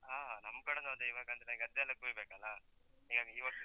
ಹ, ನಮ್ಕಡೆನೂ ಅದೇ, ಇವಾಗಂದ್ರೆ ಗದ್ದೆಯೆಲ್ಲ ಕೊಯ್ಯ್‌ಬೇಕಲ್ಲ? ಹೀಗಾಗಿ, ಈ ವರ್ಷ.